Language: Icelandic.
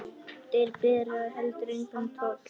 Þeir bera heldur engan toll.